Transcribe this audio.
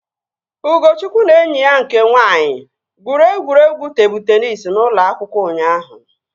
Ugochukwu na enyi ya nke nwaanyị gwuru egwuregwu tebụl teenis n'ụlọ akwụkwọ ụnyaahụ